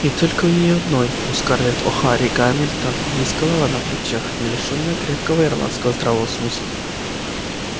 и только у неё одной у скарлетт охара гамильтон есть голова на плечах не лишённая крепкого ирландского здравого смысла